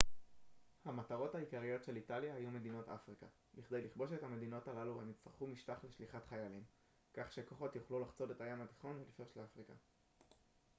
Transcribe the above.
המטרות העיקריות של איטליה היו מדינות אפריקה בכדי לכבוש את המדינות הללו הם יצטרכו משטח לשליחת חיילים כך שכוחות יוכלו לחצות את הים התיכון ולפלוש לאפריקה